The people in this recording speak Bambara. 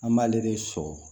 An b'ale de sɔrɔ